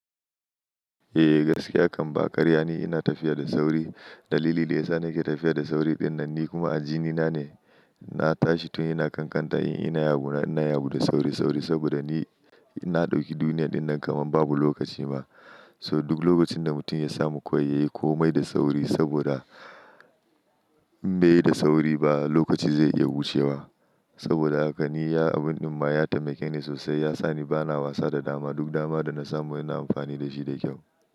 Eh gaskiya kamba karya ne. Ina tafiya da sauri. Dalili daya sa nake tafiya da sauri dinnan ni kuma a jinina ne. Na tashi tun yana kankanta in ina ya bu na ina ya bu da sauri sauri saboda ni ina dauki duniyar dinnan kaman babu lokaci ba. So duk lokacin da mutum ya samu kwai yayi komai da sauri saboda in bai yi da sauri ba lokaci zai iya wuce wa. Saboda haka ni ya abun din ma ya taimake ni sosai ya sa ni bana wasa da dama. Duk dama da na samu ina amfani da shi da kyau.